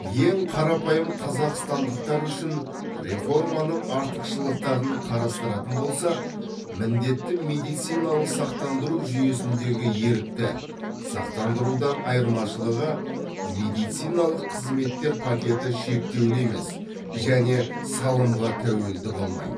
ең қарапайым қазақстандықтар үшін реформаның артықшылықтарын қарастыратын болсақ міндетті медициналық сақтандыру жүйесіндегі ерікті сақтандырудан айырмашылығы медициналық қызметтер пакеті шектеулі емес және салымға тәуелді болмайды